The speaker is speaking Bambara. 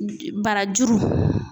Barajuru